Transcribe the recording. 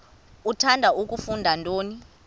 uthanda kufunda nto